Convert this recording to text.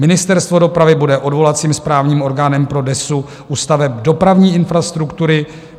Ministerstvo dopravy bude odvolacím správním orgánem pro DESÚ u staveb dopravní infrastruktury.